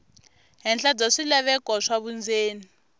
henhla bya swilaveko swa vundzeni